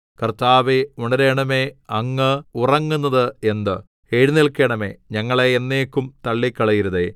കർത്താവേ ഉണരണമേ അങ്ങ് ഉറങ്ങുന്നത് എന്ത് എഴുന്നേല്ക്കണമേ ഞങ്ങളെ എന്നേക്കും തള്ളിക്കളയരുതേ